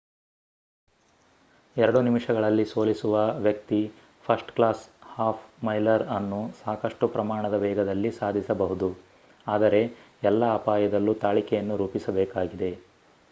ಎರಡು ನಿಮಿಷಗಳಲ್ಲಿ ಸೋಲಿಸುವ ವ್ಯಕ್ತಿ ಫರ್ಸ್ಟ್ ಕ್ಲಾಸ್ ಹಾಫ್ ಮೈಲರ್ ಅನ್ನು ಸಾಕಷ್ಟು ಪ್ರಮಾಣದ ವೇಗದಲ್ಲಿ ಸಾಧಿಸಬಹುದು ಆದರೆ ಎಲ್ಲ ಅಪಾಯದಲ್ಲೂ ತಾಳಿಕೆಯನ್ನು ರೂಪಿಸಬೇಕಾಗಿದೆ